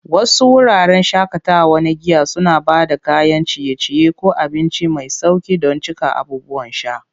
Wasu wuraren shakatawa na giya suna ba da kayan ciye-ciye ko abinci mai sauƙi don cika abubuwan sha.